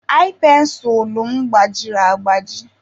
ai pensụlụ m gbajiri agbaji.